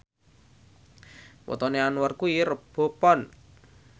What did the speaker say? wetone Anwar kuwi Rebo Pon